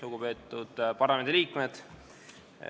Lugupeetud parlamendiliikmed!